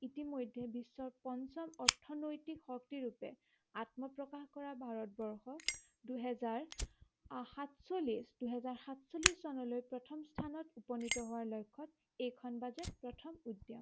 ইতিমধ্য়ে বিশ্বৰ পঞ্চম অৰ্থনৈতিক শক্তিৰূপে আত্মপ্ৰকাশ কৰা ভাৰতবৰ্ষ দুহেজাৰ আ সাতচল্লিশ দুহেজাৰ সাতচল্লিশ চনলৈ প্ৰথম স্থানত উপনীত হোৱাৰ লক্ষ্য়ত এইখন বাজেট প্ৰথম উদ্য়ান